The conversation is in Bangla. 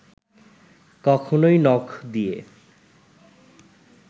কখনোই নখ দিয়ে